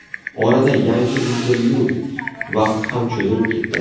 Orada yangi intervyu vaqti ham cho‘zilib ketdi.